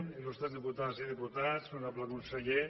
il·lustres diputades i diputats honorable conseller